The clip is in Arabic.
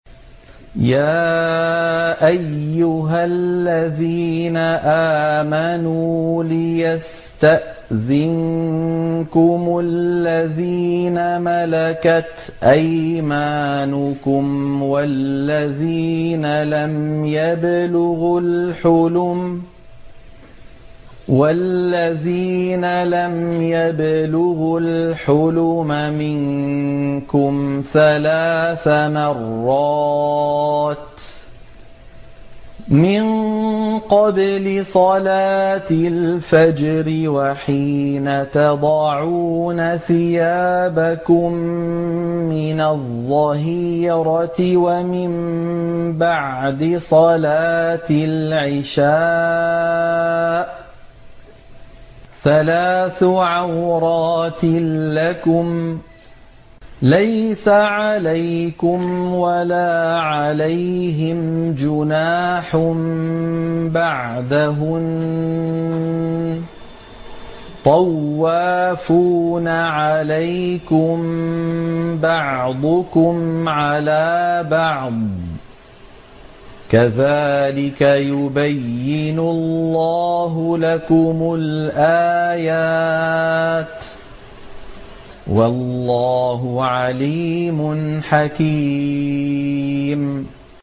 يَا أَيُّهَا الَّذِينَ آمَنُوا لِيَسْتَأْذِنكُمُ الَّذِينَ مَلَكَتْ أَيْمَانُكُمْ وَالَّذِينَ لَمْ يَبْلُغُوا الْحُلُمَ مِنكُمْ ثَلَاثَ مَرَّاتٍ ۚ مِّن قَبْلِ صَلَاةِ الْفَجْرِ وَحِينَ تَضَعُونَ ثِيَابَكُم مِّنَ الظَّهِيرَةِ وَمِن بَعْدِ صَلَاةِ الْعِشَاءِ ۚ ثَلَاثُ عَوْرَاتٍ لَّكُمْ ۚ لَيْسَ عَلَيْكُمْ وَلَا عَلَيْهِمْ جُنَاحٌ بَعْدَهُنَّ ۚ طَوَّافُونَ عَلَيْكُم بَعْضُكُمْ عَلَىٰ بَعْضٍ ۚ كَذَٰلِكَ يُبَيِّنُ اللَّهُ لَكُمُ الْآيَاتِ ۗ وَاللَّهُ عَلِيمٌ حَكِيمٌ